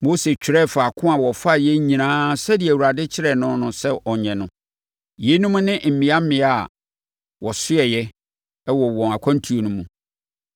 Mose twerɛɛ faako a wɔfaeɛ nyinaa sɛdeɛ Awurade kyerɛɛ no sɛ ɔnyɛ no. Yeinom ne mmea mmea a wɔsoɛɛ wɔ wɔn akwantuo no mu.